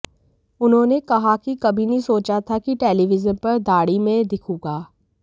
उन्होंने कहा कि कभी नहीं सोचा था कि टेलीविजन पर दाढ़ी में दिखूंगा